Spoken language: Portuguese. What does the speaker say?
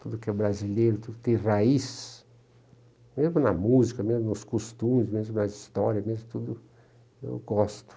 tudo que é brasileiro, tudo que tem raiz, mesmo na música, mesmo nos costumes, mesmo nas histórias, mesmo tudo, eu gosto.